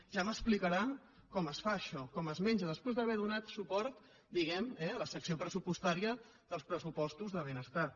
ja m’explicarà com es fa això com es menja després d’haver donat suport diguem·ne eh a la secció pres·supostària dels pressupostos de benestar